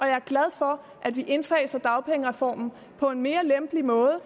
er glad for at vi indfaser dagpengereformen på en mere lempelig måde